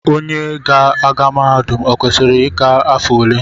Onye ga-aga mahadum o kwesịrị ịgba afọ ole?